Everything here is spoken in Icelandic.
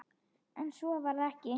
En svo varð ekki.